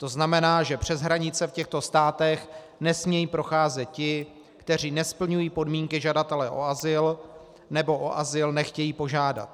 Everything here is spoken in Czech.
To znamená, že přes hranice v těchto státech nesmějí procházet ti, kteří nesplňují podmínky žadatele o azyl nebo o azyl nechtějí požádat.